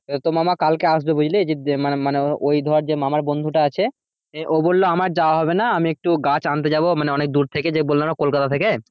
তো মামা কালকে আসবে বুঝলি? যে মানে মানে ওই ধর যে মামার বন্ধুটা আছে ও বললো আমার যাওয়া হবে না আমি একটু গাছ আনতে যাবো মানে অনেক দুর থেকে যে বললাম না কলকাতা থেকে?